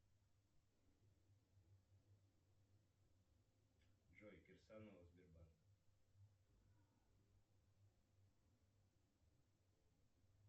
джой кирсанова сбербанк